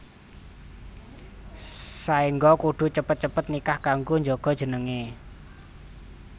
Saéngga kudu cepet cepet nikah kanggo njaga jenengé